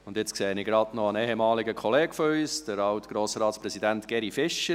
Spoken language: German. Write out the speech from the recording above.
Und jetzt sehe ich gerade noch einen ehemaligen Kollegen von uns, den Alt-Grossratspräsidenten Geri Fischer.